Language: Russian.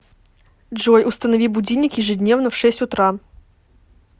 джой установи будильник ежедневно в шесть утра